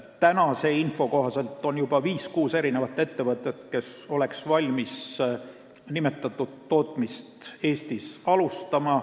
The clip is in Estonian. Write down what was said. Tänase info kohaselt on juba viis-kuus ettevõtet, kes oleks valmis nimetatud tootmist Eestis alustama.